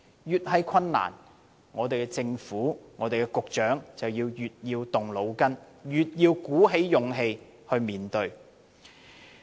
越是困難，香港政府和局長就越要動腦筋，越要鼓起勇氣面對。